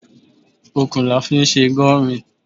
Okùn la fi sè Gurmí